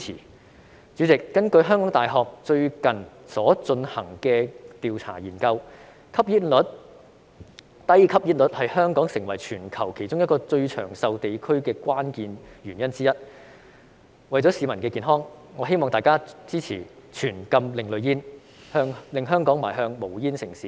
代理主席，根據香港大學最近進行的研究調查，低吸煙率是香港成為全球其中一個最長壽地區的關鍵原因之一，為了市民的健康，我希望大家支持全禁另類吸煙產品，令香港邁向無煙城市。